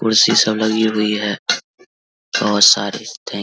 कुर्सी सब लगी हुई है बोहोत सारी थैंक --